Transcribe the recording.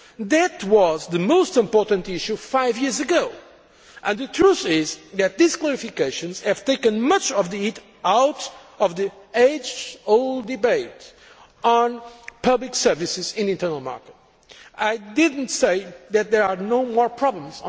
That was the most important issue five years ago, and the truth is that these clarifications have taken much of the heat out of the age old debate on public services in the internal market. I did not say that there are no more problems.